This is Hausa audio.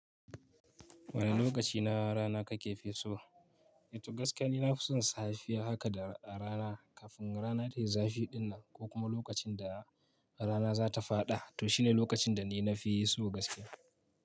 Wane lokaci na rana kake fi so? Toh gaskiya ni na fi son safiya haka da a rana kafin rana tayi zafi dinnan ko kuma lokacin da rana za ta faɗa toh shine lokacin da ni na fi so gaskiya.